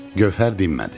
Gövhər dinmədi.